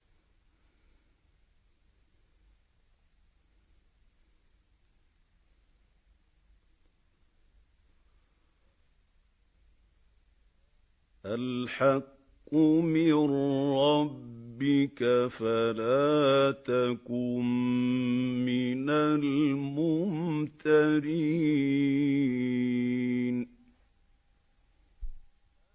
الْحَقُّ مِن رَّبِّكَ فَلَا تَكُن مِّنَ الْمُمْتَرِينَ